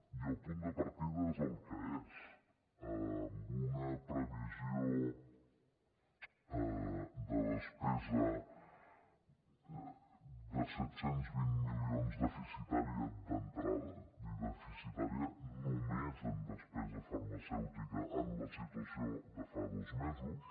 i el punt de partida és el que és amb una previsió de despesa de set cents i vint milions deficitària d’entrada i deficitària només en despesa farmacèutica en la situació de fa dos mesos